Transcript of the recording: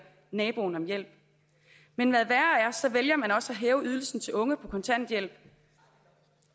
naboen om hjælp men hvad værre er så vælger man også at hæve ydelsen til unge på kontanthjælp